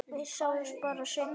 Við sjáumst bara seinna.